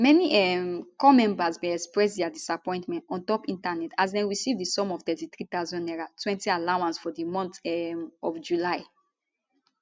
many um corps members bin express dia disappointment ontop internet as dem receive di sum of 33000 nairatwentyallowance for di month um of july